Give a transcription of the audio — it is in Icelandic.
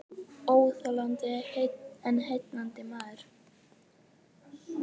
Óþolandi en heillandi maður